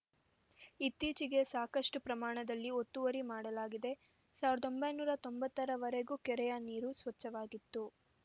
ಇತ್ತೀಚೆಗೆ ಸಾಕಷ್ಟುಪ್ರಮಾಣದಲ್ಲಿ ಒತ್ತುವರಿ ಮಾಡಲಾಗಿದೆ ಸಾವಿರದ ಒಂಬೈನೂರ ತೊಂಬತ್ತರ ವರೆಗೂ ಕೆರೆಯ ನೀರು ಸ್ವಚ್ಛವಾಗಿತ್ತು